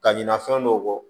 Ka ɲinɛ fɛn dɔw kɔ